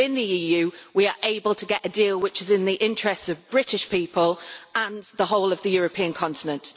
Within the EU, we are able to get a deal which is in the interests of British people and the whole of the European continent.